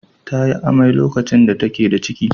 Ta yi amai lokacin da take da ciki.